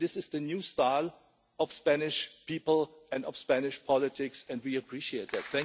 This is the new style of the Spanish people and of Spanish politics and we appreciate that.